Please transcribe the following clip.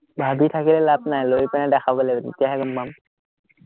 ভাৱি থাকিলে লাভ নায়, লৈ পিনে দেখাব লাগিব, তেতিয়াহে গম পাম